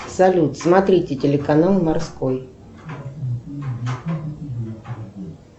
салют смотрите телеканал морской